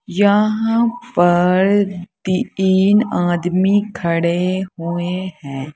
यहां पर तीन आदमी खड़े हुए हैं।